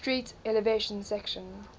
street elevated section